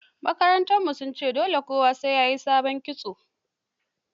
Makaranta sun ce dole kowa ta yi sabon kitso